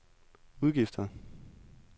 udgifter